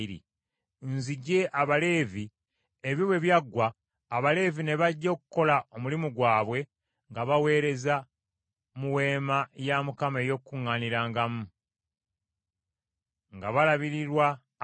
Nzigye Abaleevi mu baana ba Isirayiri ne mbagabira Alooni ne batabani be ng’ekirabo, bakolererenga abaana ba Isirayiri nga baweereza mu Weema ey’Okukuŋŋaanirangamu nga batangiririra abaana ba Isirayiri balemenga kulumbibwa kawumpuli nga babadde basemberedde awatukuvu.”